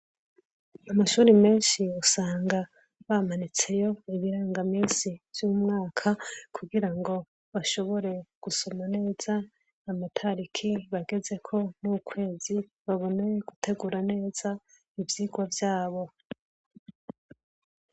Amashure menshi usanga bamanitseho ibiranga minsi vyumwaka kugirango bashobore gusoma neza amatariki bagezeko nukwezi babone guteruga neza ivyirwa vyabo